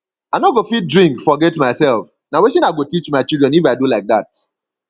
i no go fit drink forget myself na wetin i go teach my children if i do like dat